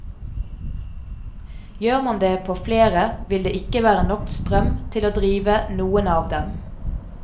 Gjør man det på flere vil det ikke være nok strøm til å drive noen av dem.